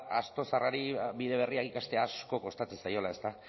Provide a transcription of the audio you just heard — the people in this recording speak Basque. asto zaharrari bide berria ikastea asko kostatzen zaiola ezta